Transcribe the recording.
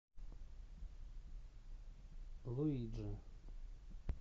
луиджи